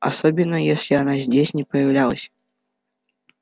особенно если она здесь не появлялась